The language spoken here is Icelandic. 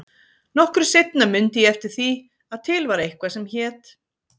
Nokkru seinna mundi ég eftir því að til var eitthvað sem hét